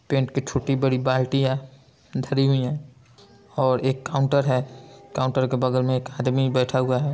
Paint की छोटी-बड़ी बाल्टियाँ धरी हुई है और एक काउंटर है काउंटर के बगल में एक आदमी बैठा हुआ है।